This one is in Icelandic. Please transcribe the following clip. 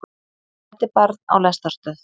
Fæddi barn á lestarstöð